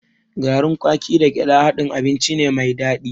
Garin kwaki da gyaɗa haɗin abinci ne mai daɗi.